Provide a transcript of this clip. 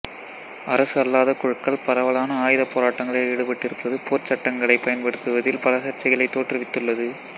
அரசு அல்லாத குழுக்கள் பரவலான ஆயுதப் போராட்டங்களில் ஈடுபட்டிருப்பது போர்ச் சட்டங்களைப் பயன்படுத்துவதில் பல சர்ச்சைகளைத் தோற்றுவித்துள்ளது